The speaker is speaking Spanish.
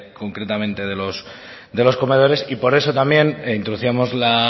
concretamente de los comedores por eso también introducíamos la